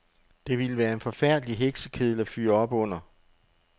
Det ville være en forfærdelig heksekedel at fyre op under.